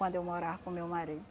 Quando eu morava com meu marido.